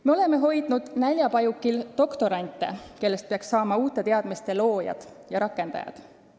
Me oleme hoidnud näljapajukil doktorante, kellest peaks saama uute teadmiste loojad ja rakendajad.